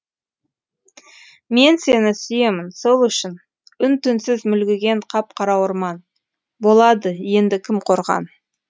мен сені сүйемін сол үшін үн түнсіз мүлгіген қап қара орман болады енді кім қорған